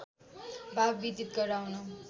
भाव विदित गराउन